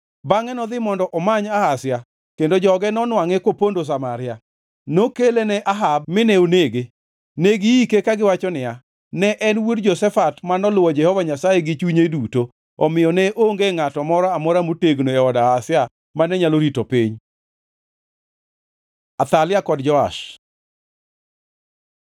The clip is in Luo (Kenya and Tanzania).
Bangʼe nodhi mondo omany Ahazia kendo joge nonwangʼe kopondo Samaria. Nokele ne Jehu mine onege. Ne giike kagiwacho niya, “Ne en wuod Jehoshafat manoluwo Jehova Nyasaye gi chunye duto.” Omiyo ne onge ngʼato moro amora motegno e od Ahazia mane nyalo rito piny. Athalia kod Joash